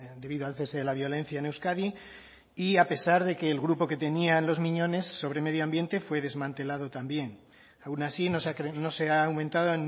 debido al cese de la violencia en euskadi y a pesar de que el grupo que tenían los miñones sobre medio ambiente fue desmantelado también aun así no se ha aumentado